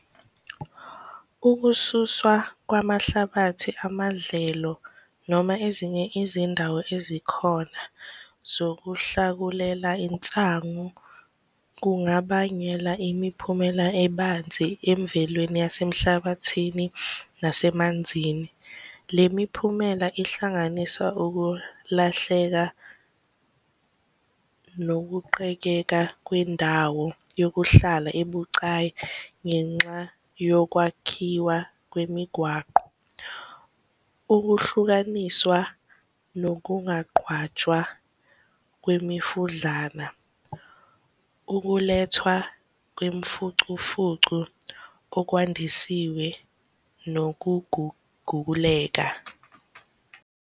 Ukususwa kwamahlabathi amadlelo noma ezinye izindawo ezikhona zokuhlakulela insangu kungabangela imiphumela ebanzi emvelweni yasemhlabathini nasemanzini. Le miphumela ihlanganisa ukulahleka nokuqekeka kwendawo yokuhlala ebucayi ngenxa yokwakhiwa kwemigwaqo. Ukuhlukaniswa nokungaqhwatshwa kwemifudlana, ukulethwa kwemfucufucu kokwandisiwe, nokuguguguleka.